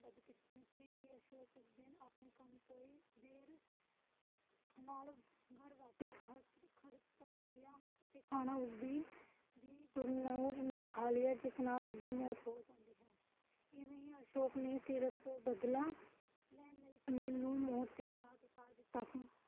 ਪਰ ਖਾਨਾ ਉਸਦੀ ਗੁਰਨੂਰ ਨੇ ਖਾ ਲਿਆ ਜਿਸ ਨਾਲ ਉਸਦੀ ਮੌਤ ਹੋ ਗਈ ਸੀ ਇਵੇਂ ਹੀ ਅਸ਼ੋਕ ਨੇ ਸੀਰਤ ਤੋਂ ਬਦਲਾ ਲੈਣ ਲਈ ਸੁਨੀਲ ਨੂੰ ਮੌਤ ਦੇ ਘਾਟ ਉਤਾਰ ਦਿੱਤਾ ਸੀ